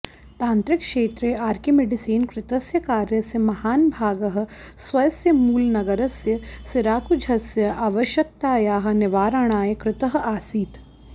तान्त्रिकक्षेत्रे आर्किमिडीसेन कृतस्य कार्यस्य महान् भागः स्वस्य मूलनगरस्य सिराकुझस्य आवश्यकतायाः निवारणाय कृतः आसीत्